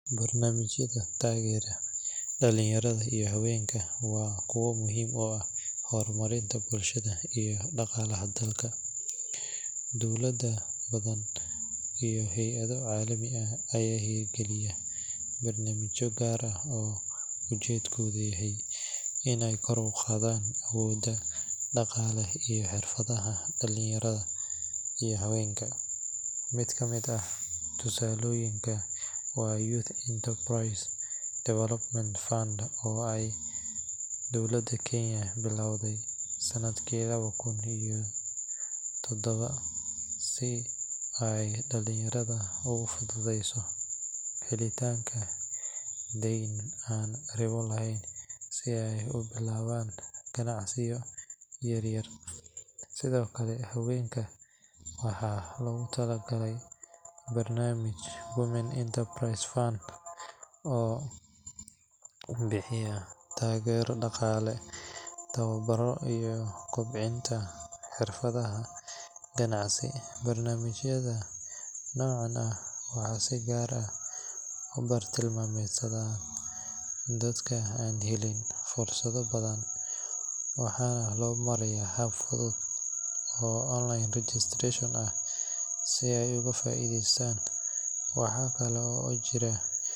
Barnaamijyada taageera dhalinyarada iyo haweenka waa kuwo muhiim u ah horumarinta bulshada iyo dhaqaalaha dalka. Dowlado badan iyo hay’ado caalami ah ayaa hirgeliya barnaamijyo gaar ah oo ujeedkoodu yahay in ay kor u qaadaan awoodda dhaqaale iyo xirfadaha dhalinyarada iyo haweenka. Mid ka mid ah tusaalooyinka waa Youth Enterprise Development Fund oo ay dowladda Kenya bilowday sanadkii laba kun iyo toddoba si ay dhalinyarada ugu fududeyso helitaanka deyn aan ribo lahayn si ay u bilaabaan ganacsiyo yaryar. Sidoo kale, haweenka waxaa loogu talagalay barnaamijka Women Enterprise Fund oo bixiya taageero dhaqaale, tababaro, iyo kobcinta xirfado ganacsi. Barnaamijyada noocan ah waxay si gaar ah u bartilmaameedsadaan dadka aan helin fursado badan, waxaana loo marayaa hab fudud oo online registration ah si ay uga faa’iideystaan. Waxa kale oo jira.